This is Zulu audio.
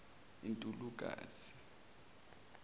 untulukazi